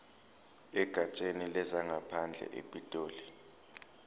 egatsheni lezangaphandle epitoli